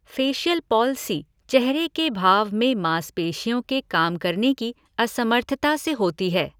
Facial palsy चेहरे के भाव में माँसपेशियोँ के काम करने की असमर्थता से होती है।